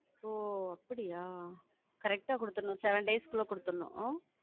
ஓ, அப்படியா? correct ஆ கொடுத்திறணும் seven days க்குள்ளே கொடுத்திறணும் ஆஹ்